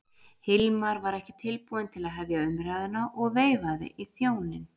Hilmar var ekki tilbúinn til að hefja umræðuna og veifaði í þjóninn.